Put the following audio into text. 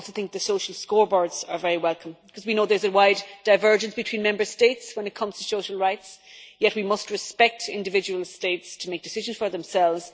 I also think the social scoreboards are very welcome, because we know there is a wide divergence between Member States when it comes to social rights, yet we must respect individual States to make decisions for themselves.